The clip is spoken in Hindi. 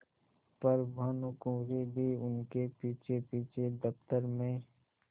पर भानुकुँवरि भी उनके पीछेपीछे दफ्तर में